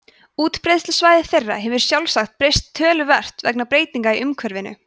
útbreiðslusvæði þeirra hefur sjálfsagt breyst töluvert vegna breytinga í umhverfinu